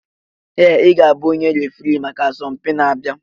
Ee! Ị ga-abụ onye referee maka asọmpi na-abịa.